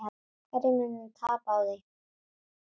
Hverjir munu tapa á því?